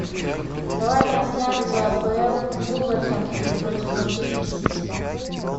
давай трансляцию апл вулверхэмптон против манчестер сити